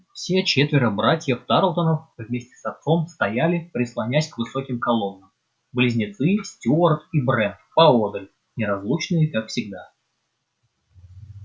все четверо братьев тарлтонов вместе с отцом стояли прислонясь к высоким колоннам близнецы стюарт и брент поодаль неразлучные как всегда